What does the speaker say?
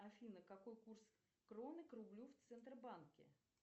афина какой курс кроны к рублю в центробанке